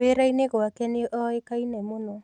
Wĩra-inĩ gwake nĩoĩkaine mũno